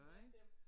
Ja dem!